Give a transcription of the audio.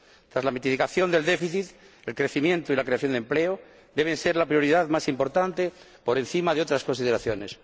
Tras la mitigación del déficit, el crecimiento y la creación de empleo deben ser la prioridad más importante, por encima de otras consideraciones.